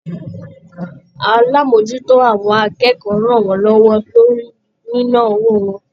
Alamojuto àwọn akẹ́kọ̀ọ́ rán wọn lọwọ lórí nina owó wọn.